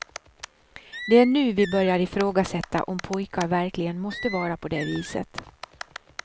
Det är nu vi börjar ifrågasätta om pojkar verkligen måste vara på det viset.